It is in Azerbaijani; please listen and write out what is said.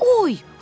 Oy!